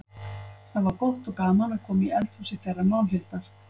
Það var gott og gaman að koma í eldhúsið þeirra Málhildar.